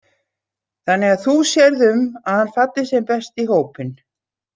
Þannig að þú sérð um að hann falli sem best í hópinn.